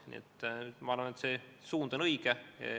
Nii et ma arvan, et see suund on õige.